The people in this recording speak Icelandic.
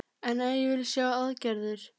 En ég vil sjá aðgerðir